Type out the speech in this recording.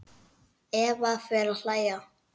Eva fer að hlæja.